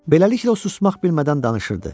Beləliklə o susmaq bilmədən danışırdı.